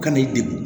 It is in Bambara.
Ka n'i degun